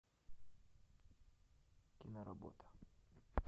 киноработа